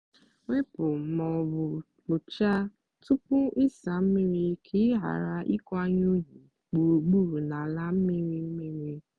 debe obere akpa ahịhịa n'ime ụlọ ọ bụla iji mee ka nhicha dị mfe kwa ụbọchị.